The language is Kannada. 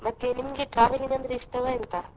ಮತ್ತೆ ನಿಮಗೆ travelling ಅಂದ್ರೆ ಇಷ್ಟವಾ ಎಂತ?